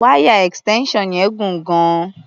Wáyà extension yẹn gùn gan-an.